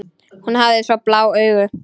Hún hafði svo blá augu.